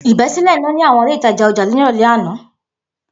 Ibesile ina ni awọn ile itaja ọja ni irọlẹ ana